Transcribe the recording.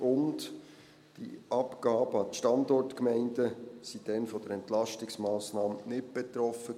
Die Abgaben an die Standortgemeinden waren damals von den Entlastungsmassnahmen nicht betroffen.